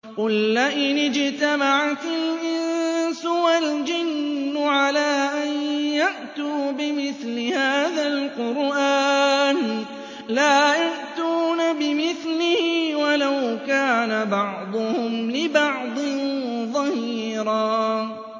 قُل لَّئِنِ اجْتَمَعَتِ الْإِنسُ وَالْجِنُّ عَلَىٰ أَن يَأْتُوا بِمِثْلِ هَٰذَا الْقُرْآنِ لَا يَأْتُونَ بِمِثْلِهِ وَلَوْ كَانَ بَعْضُهُمْ لِبَعْضٍ ظَهِيرًا